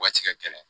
Waati ka gɛlɛn